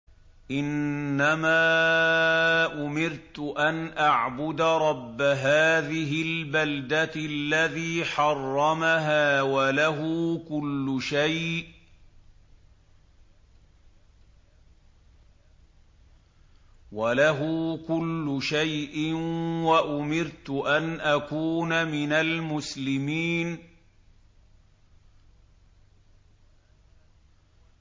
إِنَّمَا أُمِرْتُ أَنْ أَعْبُدَ رَبَّ هَٰذِهِ الْبَلْدَةِ الَّذِي حَرَّمَهَا وَلَهُ كُلُّ شَيْءٍ ۖ وَأُمِرْتُ أَنْ أَكُونَ مِنَ الْمُسْلِمِينَ